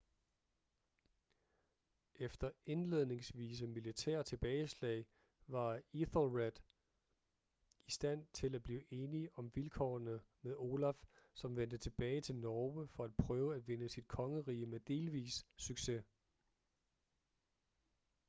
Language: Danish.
efter indledningsvise militære tilbageslag var ethelred i stand til at blive enig om vilkårene med olaf som vendte tilbage til norge for at prøve at vinde sit kongerige med delvis succes